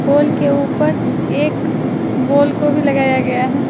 पोल के ऊपर एक बॉल को भी लगाया गया है।